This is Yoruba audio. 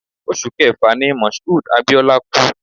Oṣù Kẹfà ni Moshood Abiola kú